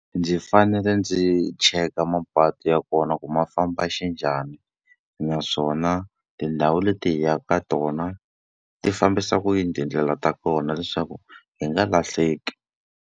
Ndzi fanele ndzi cheka mapatu ya kona ku ma famba xinjhani. Naswona tindhawu leti hi yaka ka tona, ti fambisa ku yini tindlela ta kona leswaku hi nga lahleki.